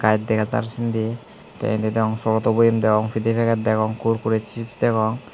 eit dega jar sindi te indi deong foroto boyem deong pide peget degong korkori chips degong.